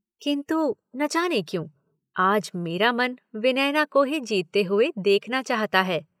किंतु न जाने क्यों आज मेरा मन विनयना को ही जीतते हुए देखना चाहता है?